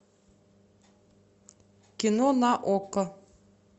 кино на окко